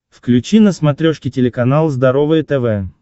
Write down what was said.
включи на смотрешке телеканал здоровое тв